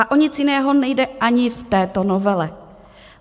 A o nic jiného nejde ani v této novele.